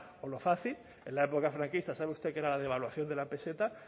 por lo fácil en la época franquista sabe usted que era la devaluación de la peseta